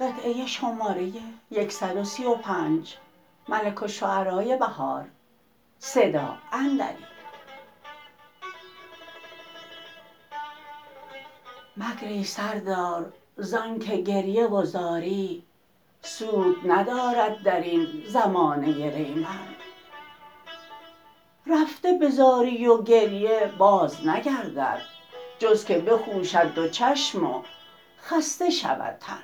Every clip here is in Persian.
مگری سردار زان که گریه و زاری سود ندارد در این زمانه ریمن رفته به زاری وگریه باز نگردد جز که بخوشد دو چشم و خسته شود تن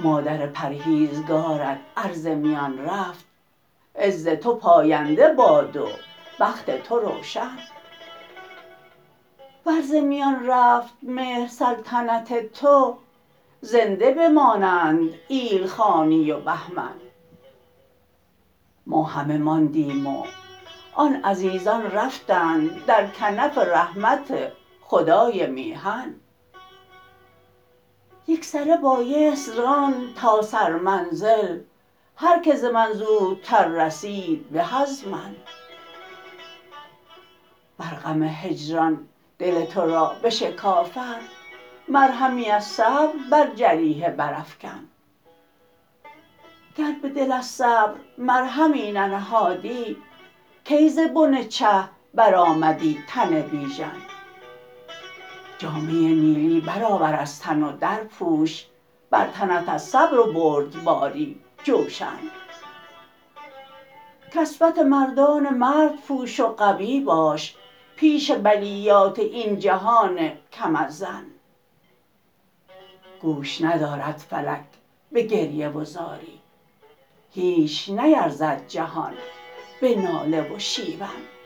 مادر پرهیزگارت ار ز میان رفت عز تو پاینده باد و بخت تو روشن ور ز میان رفت مهر سلطنت تو زنده به مانند ایلخانی و بهمن ما همه ماندیم و آن عزیزان رفتند درکنف رحمت خدای میهن یکسره بایست راند تا سر منزل هرکه ز من زودتر رسید به ازمن ور غم هجران دل تو را بشکافد مرهمی از صبر بر جریحه برافکن گر به دل از صبر مرهمی ننهادی کی ز بن چه برآمدی تن بیژن جامه ی نیلی برآور از تن و درپوش بر تنت از صبر و بردباری جوشن کسوت مردان مرد پوش و قوی باش پیش بلیات این جهان کم از زن گوش ندارد فلک به گریه و زاری هیچ نیرزد جهان به ناله و شیون